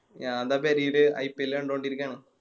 ഞാൻ ദാ പെരേല് IPL കണ്ടൊടിരിക്കാണ്